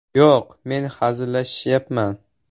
Yo‘q, men hazillashmayapman.